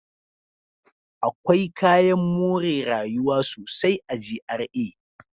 Akwai kayan more rayuwa sosai a GRA.